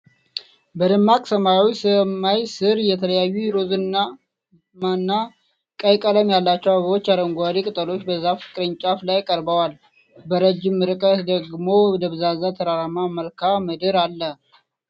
በደማቅ ሰማያዊ ሰማይ ሥር የተለያዩ ሮዝማና ቀይ ቀለም ያላቸው አበባዎችና አረንጓዴ ቅጠሎች በዛፍ ቅርንጫፎች ላይ ቀርበዋል። በረጅም ርቀት ደግሞ ደብዛዛ ተራራማ መልክዓ ምድር አለ።